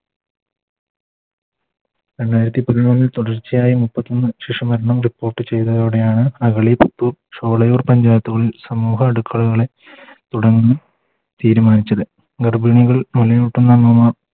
രണ്ടായിരത്തി പതിമൂന്നിൽ തുടർച്ചയായി മുപ്പത്തി മൂന്ന് ശിശു മരണം Report ചെയ്‌തതോടെയാണ്‌ മകളി ചോളയൂർ പഞ്ചായത്തുകളിൽ സമൂഹ അടുക്കളകളെ തുടങ്ങാൻ തീരുമാനിച്ചത് ഗർഭിണികൾ മുലയൂട്ടുന്ന അമ്മമാർ